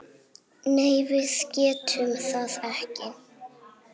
Nei, við getum það ekki.